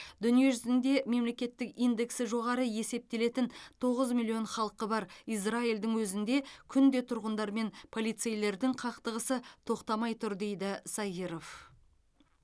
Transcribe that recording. дүниежүзінде мемлекеттік индексі жоғары есептелетін тоғыз миллион халқы бар израильдің өзінде күнде тұрғындар мен полицейлердің қақтығысы тоқтамай тұр дейді сайыров